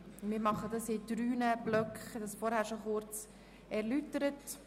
Wie ich vorhin kurz erläutert habe, erfolgt die Abstimmung in drei Blöcken.